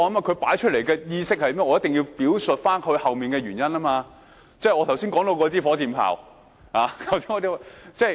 他提出來的觀點，我一定要表述背後的原因，即是我剛才談到火箭炮的比喻。